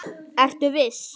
Ertu viss?